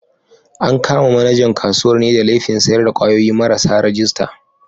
An kama manajan kasuwar ne da laifin sayar da kwayoyi marasa rajista.